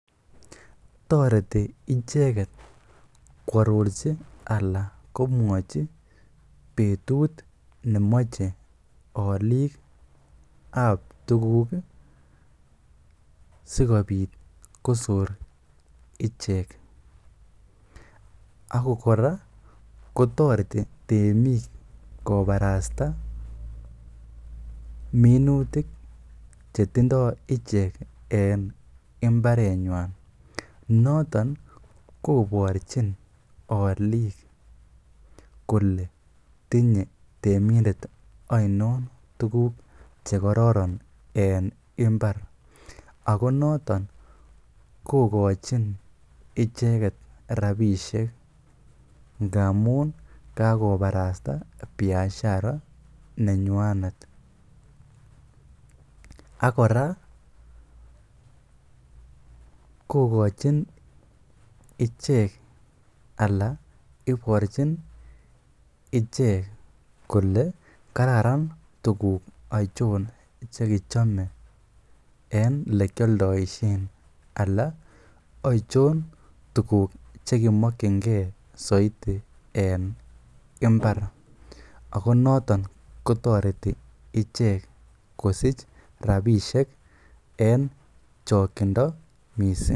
Toreti icheget koarorji anan komwochi betut nemoche olik ab tuguk sikobit kosor ichek ak kora kotoreti temik kobarasta minutik chetindo ichek en mbarenywan. Noton koborchin olik kole tinye temindet oinon tuguk che kororon en mbar. Ago noton kogochin icheget rabishek ngamun kagobarasta biashara nenywanet. Ak kora kogochin ichek ala iborchin ichek kole kararan tuguk achon ch ekichome en ele kioldoishen ala ochon tuguk che kimokine soiti en mbar ago noton kotoreti ichek kosich rabishek en chong'indo mising.